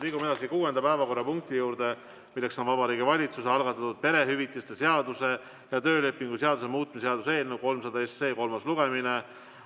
Liigume kuuenda päevakorrapunkti juurde: Vabariigi Valitsuse algatatud perehüvitiste seaduse ja töölepingu seaduse muutmise seaduse eelnõu 300 kolmas lugemine.